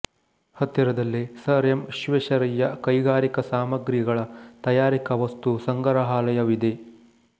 ಹತ್ತಿರದಲ್ಲೇ sir M Visvesvaraya ಕೈಗಾರಿಕಾ ಸಾಮಗ್ರಿಗಳ ತಯಾರಿಕೆಯ ವಸ್ತುಸಂಗ್ರಹಾಲಯವಿದೆ